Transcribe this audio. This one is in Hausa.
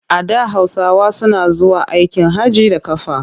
A da Hausawa suna zuwa aikin hajji da ƙafa.